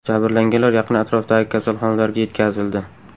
Jabrlanganlar yaqin atrofdagi kasalxonalarga yetkazildi.